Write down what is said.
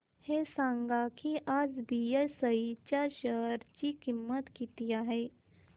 हे सांगा की आज बीएसई च्या शेअर ची किंमत किती आहे